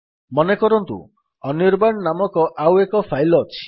ମନେକରନ୍ତୁ ଅନିର୍ବାଣ ନାମକ ଆଉ ଏକ ଫାଇଲ୍ ଅଛି